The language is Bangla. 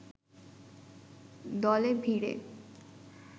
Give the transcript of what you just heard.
দলে ভিড়ে